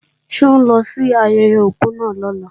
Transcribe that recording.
Ṣé ó ń lọ sí ayẹyẹ òkú náà lọ́la?